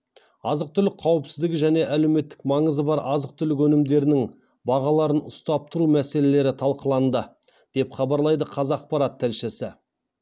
азық түлік қауіпсіздігі және әлеуметтік маңызы бар азық түлік өнімдерінің бағаларын ұстап тұру мәселелері талқыланды деп хабарлайды қазақпарат тілшісі